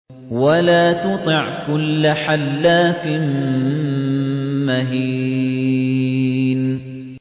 وَلَا تُطِعْ كُلَّ حَلَّافٍ مَّهِينٍ